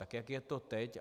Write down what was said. Tak jak je to teď?